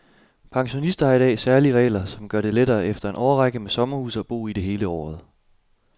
Pensionister har i dag særlige regler, som gør det lettere efter en årrække med sommerhus at bo i det hele året.